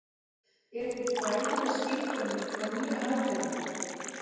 er til fræðileg skilgreining á nýja hagkerfinu